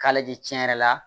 K'a lajɛ tiɲɛn yɛrɛ la